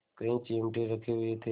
कई चिमटे रखे हुए थे